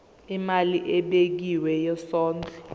imali ebekiwe yesondlo